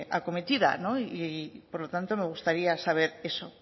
acometida y por lo tanto me gustaría saber eso